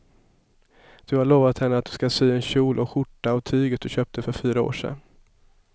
Du har lovat henne att du ska sy en kjol och skjorta av tyget du köpte för fyra år sedan.